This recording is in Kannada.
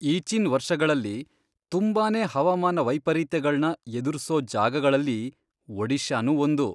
ಈಚಿನ್ ವರ್ಷಗಳಲ್ಲಿ ತುಂಬಾನೇ ಹವಾಮಾನ ವೈಪರೀತ್ಯಗಳ್ನ ಎದುರ್ಸೋ ಜಾಗಗಳಲ್ಲಿ ಒಡಿಶಾನೂ ಒಂದು.